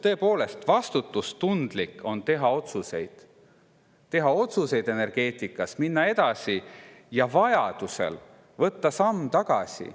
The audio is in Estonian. Tõepoolest, vastutustundlik on teha energeetikas otsuseid, minna edasi, ent vajadusel võtta samm tagasi.